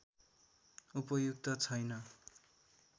उपयुक्त छैन